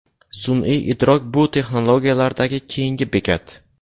Sun’iy idrok bu texnologiyalardagi keyingi bekat.